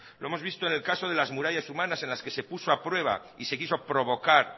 lo hemos visto en el caso de las murallas humanas en las que se puso a prueba y se quiso provocar